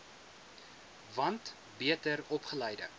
want beter opgeleide